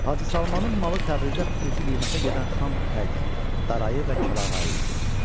Hacı Salmanın malı Təbrizdə xüsusi qiymətə gedən xam ipək, darayı və kəlağayı idi.